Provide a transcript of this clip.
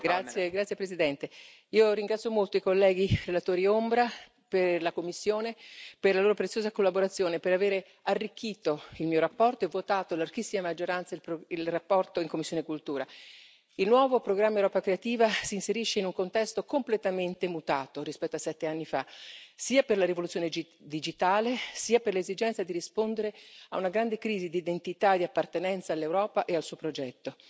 Signora Presidente, onorevoli colleghi, io ringrazio molto i colleghi relatori ombra della commissione per la loro preziosa collaborazione e per avere arricchito la mia relazione e averla votata a larghissima maggioranza in commissione CULT. Il nuovo programma Europa creativa si inserisce in un contesto completamente mutato rispetto a sette anni fa, sia per la rivoluzione digitale sia per l'esigenza di rispondere a una grande crisi di identità e di appartenenza all'Europa e al suo progetto.